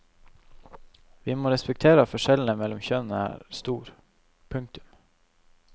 Vi må respektere at forskjellen mellom kjønnene er stor. punktum